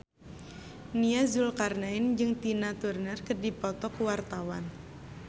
Nia Zulkarnaen jeung Tina Turner keur dipoto ku wartawan